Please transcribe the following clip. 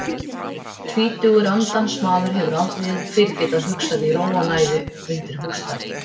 Tvítugur andansmaður hefur aldrei fyrr getað hugsað í ró og næði undir húsþaki.